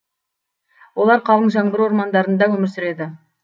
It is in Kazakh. олар қалың жаңбыр ормандарында өмір сүреді